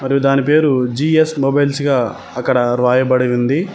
మరియు దాని పేరు జి_ఎస్ మొబైల్స్ గా అక్కడ రాయబడి ఉంది.